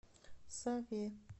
саве